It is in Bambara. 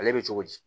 Ale bɛ cogo di